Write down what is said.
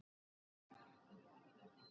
Eins dauði er annars brauð.